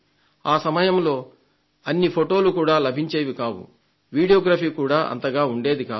ఆ సమయంలో అన్ని ఫొటోలు కూడా లభించేవి కావు వీడియోగ్రఫీ కూడా అంతగా ఉండేది కాదు